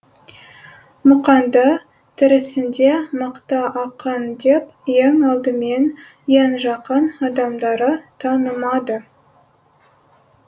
мұқаңды тірісінде мықты ақын деп ең алдымен ең жақын адамдары танымады